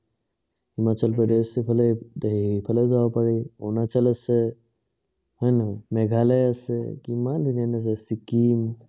হিমাচল প্ৰদেশ, এইফালে হেৰি এফালে যাব পাৰি। অৰপণাচল আছে, হয় নে নহয়, মেঘালয় আছে, কিমান ধুনীয়া ধুনীয়া আছে, চিক্কিম